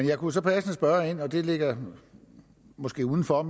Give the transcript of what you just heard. jeg kunne så passende spørge ind til og det ligger måske uden for